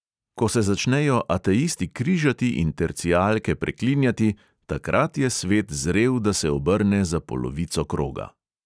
Ko se začnejo ateisti križati in tercijalke preklinjati, takrat je svet zrel, da se obrne za polovico kroga.